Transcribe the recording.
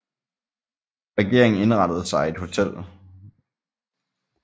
Regeringen indrettede sig i et hotel